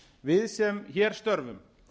við sem hér störfum